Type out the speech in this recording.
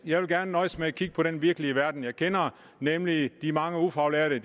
jeg vil gerne nøjes med at kigge på den virkelige verden jeg kender nemlig de mange ufaglærte